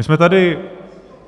My jsme tady